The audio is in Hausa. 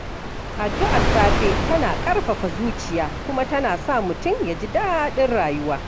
Addu’ar safe tana ƙarfafa zuciya kuma tana sa mutum ya ji daɗin rayuwa.